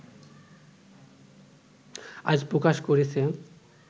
আজ প্রকাশ করেছে